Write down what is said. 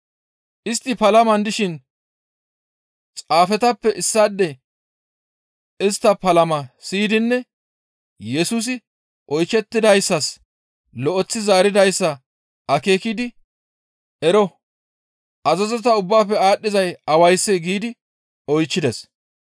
Istti palaman dishin xaafetappe issaadey istta palamaa siyidinne Yesusi oyshettidayssas lo7eththi zaaridayssa akeekidi, «Ero! Azazota ubbaafe aadhdhizay awayssee?» giidi oychchides.